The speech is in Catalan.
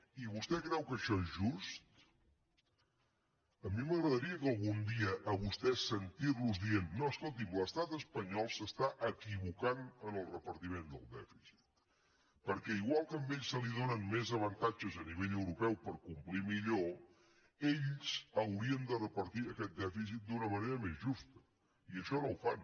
i vostè creu que això és just a mi m’agradaria algun dia a vostès sentirlos dir no escolti’m l’estat espanyol s’està equivocant en el repartiment del dèficit perquè igual que a ells els donen més avantatges a nivell europeu per complir millor ells haurien de repartir aquest dèficit d’una manera més justa i això no ho fan